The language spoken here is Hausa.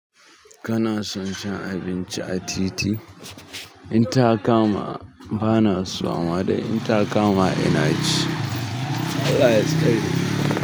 Kana son shan abinci a titi? In ta kama ba na so ama dai, in ta kama ina ci. Allah ya tsare ka.